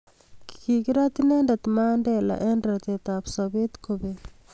kikirat inendet Mandela eng' ratetab sobet kobek